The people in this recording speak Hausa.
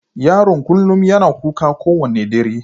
Yaron kullum yana kuka kowane dare.